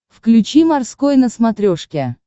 включи морской на смотрешке